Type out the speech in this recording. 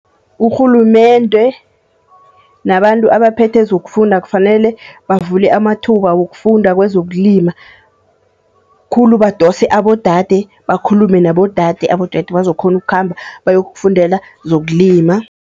Urhulumende nabantu abaphethe zokufunda kufanele bavule amathuba wokufunda kwezokulima. Khulu badose abodade, bakhulume nabodade, abodade bazokukghona ukukhamba bayokufundela zokulima.